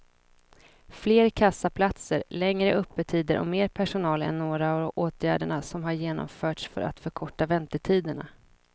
Fler kassaplatser, längre öppettider och mer personal är några av åtgärderna som har genomförts för att förkorta väntetiderna.